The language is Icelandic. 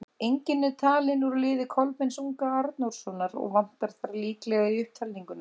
Enginn er talinn úr liði Kolbeins unga Arnórssonar, og vantar þar líklega í upptalninguna.